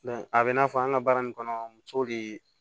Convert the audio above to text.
a bɛ i n'a fɔ an ka baara nin kɔnɔ muso de